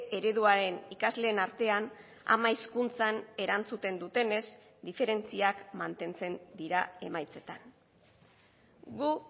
ereduaren ikasleen artean ama hizkuntzan erantzuten dutenez diferentziak mantentzen dira emaitzetan gu